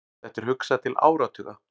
Þetta er hugsað til áratuga.